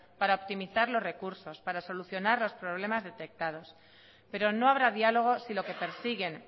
para optimizar los recursos para solucionar los problemas detectados pero no habrá diálogo si lo que persiguen